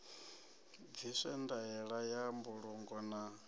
bviswe ndaela ya mbulungo na